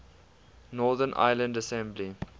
northern ireland assembly